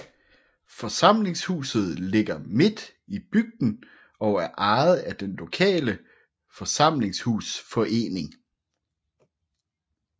Forsamlingshuset ligger midt i bygden og er ejet af den lokale forsamlingshusforening